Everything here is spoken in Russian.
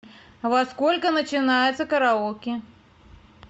во сколько начинается караоке